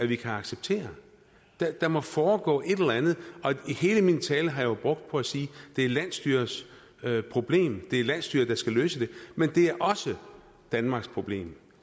vi kan acceptere der må foregå et eller andet hele min tale har jeg jo brugt på at sige det er landsstyrets problem det er landsstyret der skal løse det men det er også danmarks problem